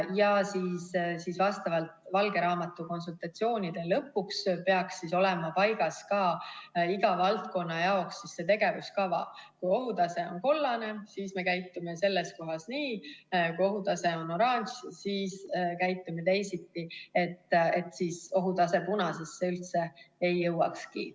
Ja vastavalt valge raamatu konsultatsioonide lõpuks peaks olema paigas ka iga valdkonna jaoks tegevuskava: kui ohutase on kollane, siis me käitume selles kohas nii, kui ohutase on oranž, siis käitume teisiti, et ohutase punasesse üldse ei jõuakski.